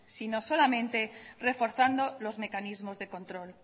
solamente reforzando los mecanismos de control